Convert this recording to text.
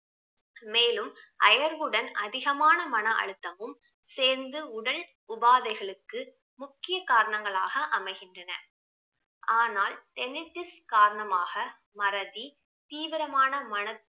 மேலும் அயர்வுடன் அதிகமான மன அழுத்தமும் சேர்ந்து உடல் உபாதைகளுக்கு முக்கிய காரணங்களாக அமைகின்றன ஆனால் காரணமாக மறதி தீவிரமான மன